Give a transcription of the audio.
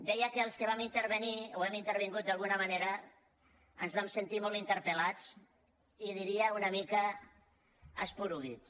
deia que els que hi vam intervenir o hi hem intervingut d’alguna manera ens vam sentir molt interpelca esporuguits